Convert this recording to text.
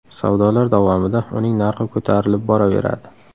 Savdolar davomida uning narxi ko‘tarilib boraveradi.